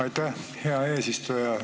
Aitäh, hea eesistuja!